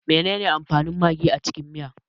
Menene amfanin magi a cikin miya?